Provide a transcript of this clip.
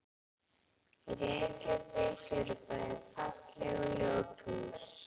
Í Reykjavík eru bæði falleg og ljót hús.